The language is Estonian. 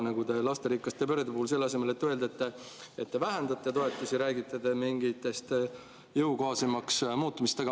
Nagu ka lasterikaste perede puhul selle asemel, et öelda, et te vähendate toetusi, räägite mingist jõukohasemaks muutmisest.